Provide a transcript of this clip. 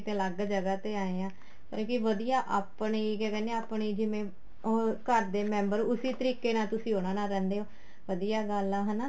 ਅਲੱਗ ਜਗ੍ਹਾ ਤੇ ਆਏ ਹਾਂ ਪਰ ਕੀ ਵਧੀਆ ਆਪਣੀ ਕਿਆ ਕਹਿਣੇ ਹਾਂ ਆਪਣੀ ਜਿਵੇਂ ਉਹ ਘਰ ਦੇ member ਉਸੀ ਤਰੀਕੇ ਨਾਲ ਤੁਸੀਂ ਉਹਨਾ ਨਾਲ ਰਹਿੰਦੇ ਹੋ ਵਧੀਆ ਗੱਲ ਏ ਹਨਾ